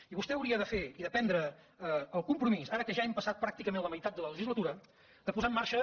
i vostè hauria de fer i de prendre el compromís ara que ja hem passat pràcticament la meitat de la legislatura de posar en marxa